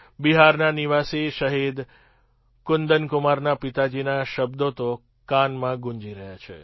બિહારના નિવાસી શહીદ કુંદનકુમારના પિતાજીના શબ્દો તો કાનમાં ગૂંજી રહ્યા છે